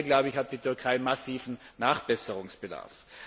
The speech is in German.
Hier hat die Türkei massiven Nachbesserungsbedarf.